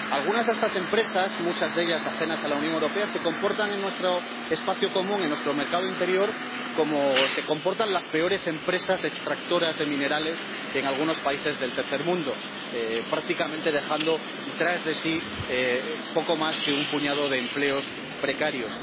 Algunas de estas empresas —muchas de ellas ajenas a la Unión Europea— se comportan en nuestro espacio común, en nuestro mercado interior, como se comportan las peores empresas extractoras de minerales en algunos países del tercer mundo, prácticamente dejando tras de sí poco más que un puñado de empleos precarios.